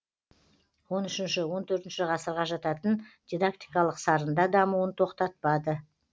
он үшінші он төртінші ғасырға жататын дидактикалық сарында дамуын тоқтатпады